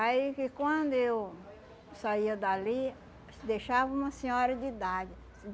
Aí que quando eu saía dali, deixava uma senhora de idade.